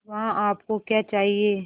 वहाँ आप को क्या चाहिए